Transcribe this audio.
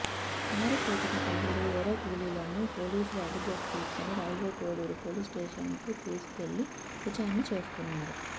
పారిపోతున్న పలువురు ఎర్రకూలీలను పోలీసులు అదుపులోకి తీసుకుని రైల్వేకోడూరు పోలీస్స్టేషన్కు తీసుకెళ్లి విచారణ చేస్తున్నారు